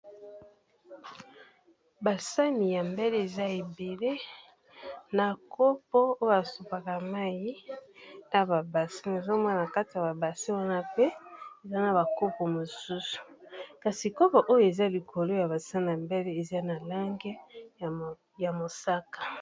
Ba sani ya mbele eza ébélé na kopo oyo a sopaka mayi na ba bassins, na ezo mona kata ya ba bassins wana pe eza na ba kopo mosusu kasi kopo oyo eza likolo ya ba sani ya mbele eza na langi ya moska .